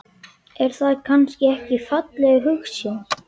Er það kannski ekki falleg hugsjón?